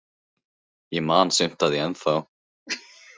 Ég man sumt af því ennþá.